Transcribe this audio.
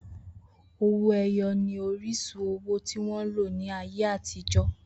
Owó-ẹyọ ni oríṣi owó tí wọ́n lò ní ayé àtijọ́.